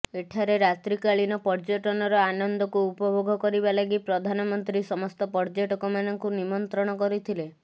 ଏଠାରେ ରାତ୍ରିକାଳୀନ ପର୍ଯ୍ୟଟନର ଆନନ୍ଦକୁ ଉପଭୋଗ କରିବା ଲାଗି ପ୍ରଧାନମନ୍ତ୍ରୀ ସମସ୍ତ ପର୍ଯ୍ୟଟକମାନଙ୍କୁ ନିମନ୍ତ୍ରଣ କରିଥିଲେ